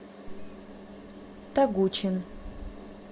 тогучин